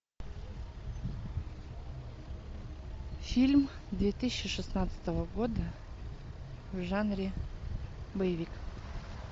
фильм две тысячи шестнадцатого года в жанре боевик